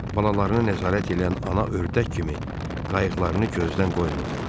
Balalarını nəzarət eləyən ana ördək kimi qayıqlarını gözdən qoymurdular.